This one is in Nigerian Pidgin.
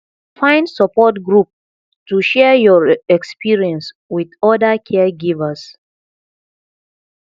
find support group to share your experience wit oda caregivers